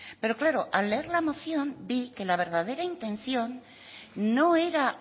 pero claro al leer la moción vi que la verdadera intención no era